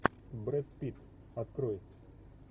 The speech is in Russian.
брэд питт открой